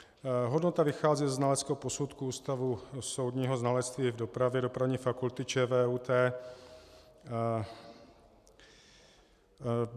Hodnota vychází ze znaleckého posudku Ústavu soudního znalectví v dopravě Dopravní fakulty ČVUT.